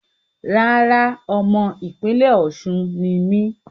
Rárá, ọmọ ìpínlẹ́ Osun ni mí